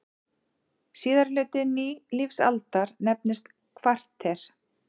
Síðari hluti nýlífsaldar nefnist kvarter.